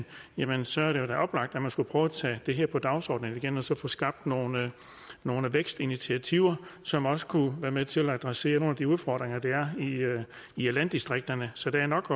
jamen så er det da oplagt at man skulle prøve at tage det her på dagsordenen igen og så få skabt nogle nogle vækstinitiativer som også kunne være med til at adressere nogle af de udfordringer der er i landdistrikterne så der er nok